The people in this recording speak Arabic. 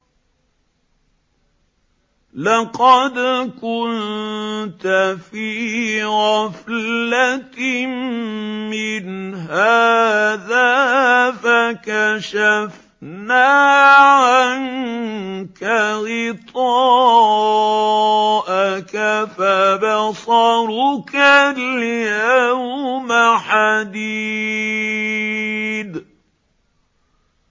لَّقَدْ كُنتَ فِي غَفْلَةٍ مِّنْ هَٰذَا فَكَشَفْنَا عَنكَ غِطَاءَكَ فَبَصَرُكَ الْيَوْمَ حَدِيدٌ